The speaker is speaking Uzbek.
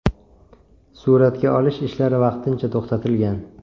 Suratga olish ishlari vaqtincha to‘xtatilgan.